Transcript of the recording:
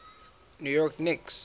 new york knicks